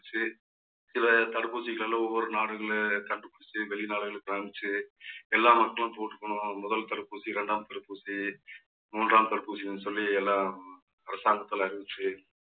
சில தடுப்பூசிகள்ல ஒவ்வொரு நாடுகள்ல கண்டு புடிச்சிச்சி வெளிநாடுகளுக்கு இப்ப அனுப்பிச்சு எல்லா மக்களும் போட்டுக்கணும். முதல் தடுப்பூசி இரண்டாம் தடுப்பூசி மூன்றாம் தடுப்பூசின்னு சொல்லி எல்லாம் அரசாங்கத்தில அறிவிச்சு